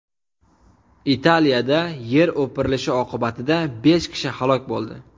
Italiyada yer o‘pirilishi oqibatida besh kishi halok bo‘ldi.